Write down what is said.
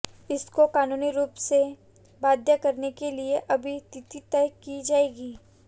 इसकोे कानूनी रूप से बाध्य करने के लिए अभी तिथि तय की जाएगी